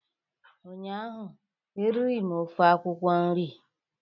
ụnyahụ eriri m ofe akwụkwọ nri